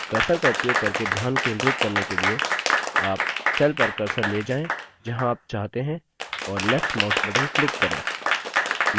cursor का उपयोग करके ध्यान केंद्रित करने के लिए आप cell पर cursor ले जाएँ जहाँ आप चाहते हैं और left mouse button click करें